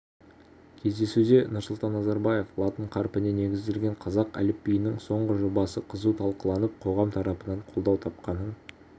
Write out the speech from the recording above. кездесуде нұрсұлтан назарбаев латын қарпіне негізделген қазақ әліпбиінің соңғы жобасы қызу талқыланып қоғам тарапынан қолдау тапқанын